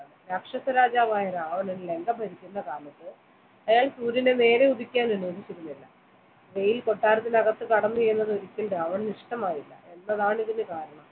രാക്ഷസ രാജാവായ രാവണൻ ലങ്ക ഭരിക്കുന്ന കാലത്ത് അയാൾ സൂര്യനെ നേരെ ഉദിക്കാൻ അനുവദിച്ചിരുന്നില്ല വെയിൽ കൊട്ടാരത്തിനകത്ത് കടന്നു എന്നത് ഒരിക്കലും രാവണന് ഇഷ്ടമായില്ല എന്നതാണ് ഇതിന് കാരണം